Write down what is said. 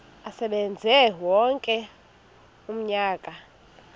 asebenze wonke umnyaka